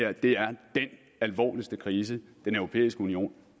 alvorligste krise den europæiske union